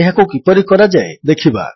ଏହାକୁ କିପରି କରାଯାଏ ଦେଖିବା